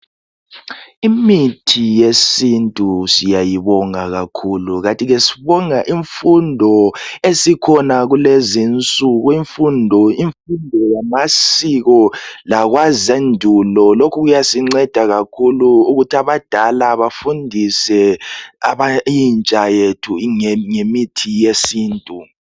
Imithi yesintu siyayibonga kakhulu, Kanti ke sibonga imfundo esikhona kulezinsuku imfundo yamasiko lokhu kuyasinceda kakhulu ukuthi abadala bethu bafundise intsha ngemithi yesintu.